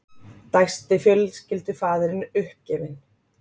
dæsti fjölskyldufaðirinn uppgefinn.